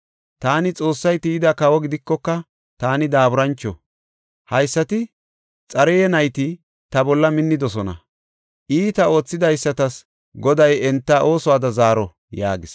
Taani Xoossay tiyida kawo gidikoka, taani daaburancho; haysati Xaruya nayti ta bolla minnidosona; iita oothidaysatas Goday enta oosuwada zaaro” yaagis.